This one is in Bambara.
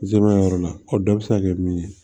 Zimɛbi yɔrɔ la o dɔ bɛ se ka kɛ min ye